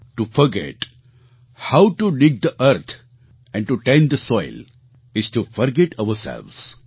to forget how to dig the earth and to tend the soil is to forget ourselves